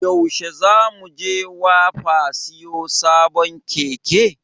Yaushe za mu je wapa siyo sabon Keke?